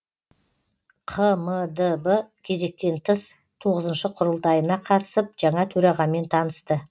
қмдб кезектен тыс тоғызыншы құрылтайына қатысып жаңа төрағамен танысты